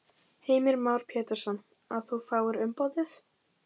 Heimir Már Pétursson: Að þú fáir umboðið?